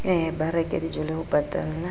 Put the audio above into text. ba reke dijole ho patalla